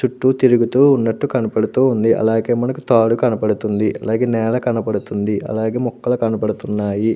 చుట్టూ తిరుగుతూ మనకు కనబడుతూ ఉంది అలాగే మనకు తాడు కనబడుతుంది నేల కనబడుతుంది అలాగే మొక్కలు కనబడుతున్నాయి.